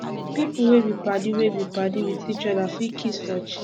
pipo wey be padi wey be padi with each oda fit kiss for cheek